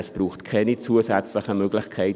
Es braucht keine zusätzlichen Möglichkeiten.